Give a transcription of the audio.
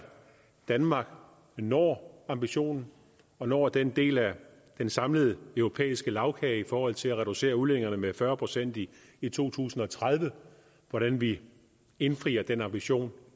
danmark når ambitionen og når den del af den samlede europæiske lagkage i forhold til at reducere udledningerne med fyrre procent i i to tusind og tredive og hvordan vi indfrier den ambition